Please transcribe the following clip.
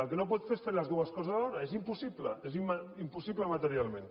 el que no pot fer és fer les dues coses alhora és impossible és impossible materialment